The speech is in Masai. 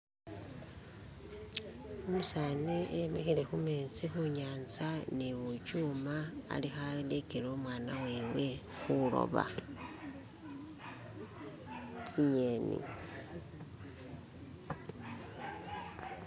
Umuseza imikile kumezi kunyanza ni bubyuma alikulegela umwana wewe kuloba zinyeni